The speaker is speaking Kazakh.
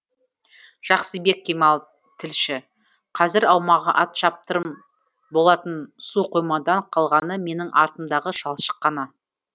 жақсыбек кемал тілші қазір аумағы ат шаптырым болатын су қоймадан қалғаны менің артымдағы шалшық қана